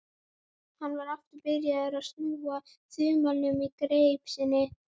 Hann var aftur byrjaður að snúa þumlunum í greip sinni.